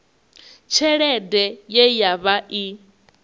tshelede ye ya vha i